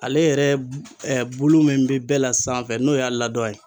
Ale yɛrɛ bulu min bɛ bɛɛ la sanfɛ n'o y'a ladɔn ye